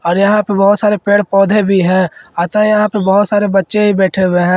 और यहां पे बहोत सारे पेड़ पौधे भी है अतः यहां पे बहोत सारे बच्चे भी बैठे हुए हैं।